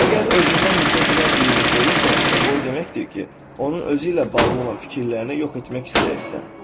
Əgər özündən nifrət edən birini sevirsənsə, bu o deməkdir ki, onun özü ilə bağlı olan fikirlərini yox etmək istəyirsən.